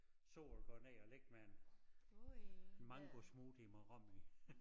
Sol går ned og ligge med en en mangosmoothie med rom i